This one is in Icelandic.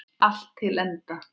Allt til enda.